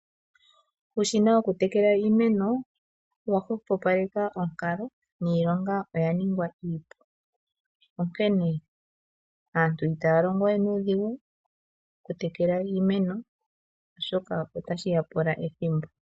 Uushina woku tekela iimeno owa hwepopaleka onkalo niilonga oya ningwa iipu, onkene aantu itaya longo we nuudhigu oku tekela iimeno oshoka otashi ya pula ethimbo.